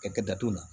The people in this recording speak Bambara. Ka kɛ datugu la